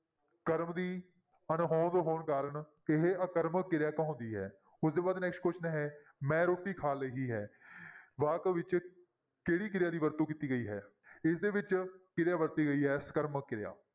ਕਰਮ ਦੀ ਅਣਹੋਂਦ ਹੋਣ ਕਾਰਨ ਇਹ ਆਕਰਮਕ ਕਿਰਿਆ ਕਹਾਉਂਦੀ ਹੈ, ਉਹ ਤੋਂ ਬਾਅਦ next question ਹੈ ਮੈਂ ਰੋਟੀ ਖਾ ਲਈ ਹੈ ਵਾਕ ਵਿੱਚ ਕਿਹੜੀ ਕਿਰਿਆ ਦੀ ਵਰਤੋਂ ਕੀਤੀ ਗਈ ਹੈ ਇਸਦੇ ਵਿੱਚ ਕਿਰਿਆ ਵਰਤੀ ਗਈ ਹੈ ਸਕਰਮਕ ਕਿਰਿਆ।